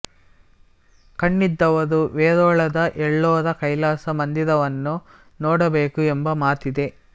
ಕಣ್ಣಿದ್ದವರು ವೇರೂಳದ ಎಲ್ಲೋರಾ ಕೈಲಾಸ ಮಂದಿರವನ್ನು ನೋಡಬೇಕು ಎಂಬ ಮಾತಿದೆ